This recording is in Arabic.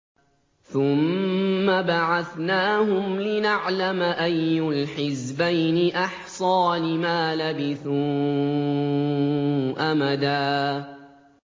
ثُمَّ بَعَثْنَاهُمْ لِنَعْلَمَ أَيُّ الْحِزْبَيْنِ أَحْصَىٰ لِمَا لَبِثُوا أَمَدًا